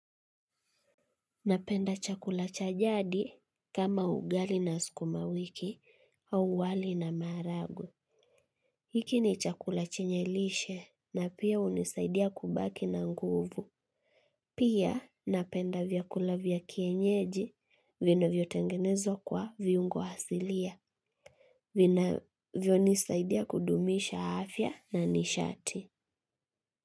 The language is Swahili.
Napenda chakula cha jadi kama ugali na sukuma wiki au wali na maharagwe. Hiki ni chakula chenye lishe na pia hunisaidia kubaki na nguvu. Pia napenda vyakula vya kienyeji vinavyotengenezo kwa viungo hasilia. Vinavyonisaidia kudumisha afya na nishati.